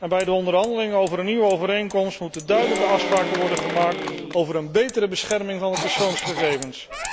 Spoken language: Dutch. Bij de onderhandelingen over een nieuwe overeenkomst moeten duidelijke afspraken worden gemaakt over een betere bescherming van de persoonsgegevens.